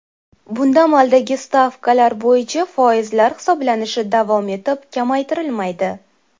Bunda amaldagi stavkalar bo‘yicha foizlar hisoblanishi davom etib, kamaytirilmaydi.